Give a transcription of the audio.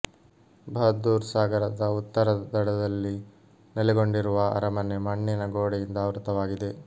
ಬಹಾದುರ್ ಸಾಗರದ ಉತ್ತರ ದಡದಲ್ಲಿ ನೆಲೆಗೊಂಡಿರುವ ಅರಮನೆ ಮಣ್ಣಿನ ಗೋಡೆಯಿಂದ ಆವೃತವಾಗಿದೆ